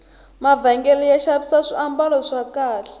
mavhengele ya xavisa swambalo swa kahle